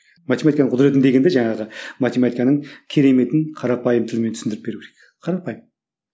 математиканың құдіретін дегенде жаңағы математиканың кереметін қарапайым тілмен түсіндіріп беру керек қарапайым